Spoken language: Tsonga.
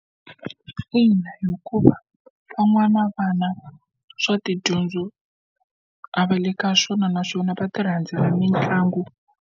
Ina hikuva van'wana vana swa tidyondzo a va le ka swona naswona va tirhandzela mitlangu.